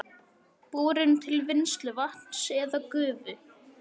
borun til vinnslu vatns eða gufu.